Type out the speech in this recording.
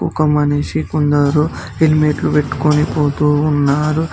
ఒక మనిషి కొందరు హెల్మెట్లు పెట్టుకొని పోతూ ఉన్నారు.